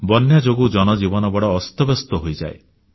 ବନ୍ୟା ଯୋଗୁଁ ଜନଜୀବନ ବଡ଼ ଅସ୍ତବ୍ୟସ୍ତ ହୋଇଯାଏ